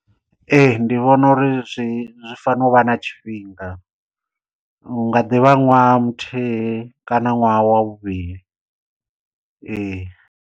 Ee ndi vhona uri zwi zwi fanela u vha na tshifhinga u nga ḓivha ṅwaha muthihi kana ṅwaha wa vhuvhili ee.